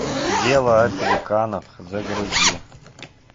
дело о пеликанах загрузи